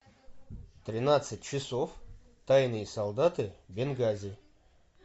тринадцать часов тайные солдаты бенгази